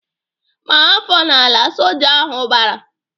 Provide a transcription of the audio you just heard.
"Maa afọ n'ala!" Soja ahụ bara.